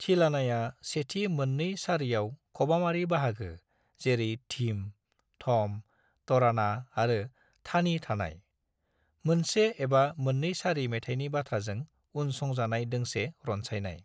थिलानाया सेथि मोननै सारियाव खबामारि बाहागो जेरै धीम, थम, तराना आरो थानी थानाय, मोनसे एबा मोननै सारि मेथायनि बाथ्राजों उन संजानाय दोंसे रनसायनाय।